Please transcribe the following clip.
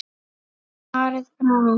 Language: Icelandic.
Svarið frá